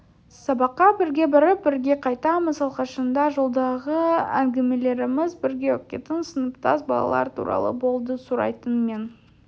сабаққа бірге барып бірге қайтамыз алғашында жолдағы әңгімелеріміз бірге оқитын сыныптас балалар туралы болды сұрайтын мен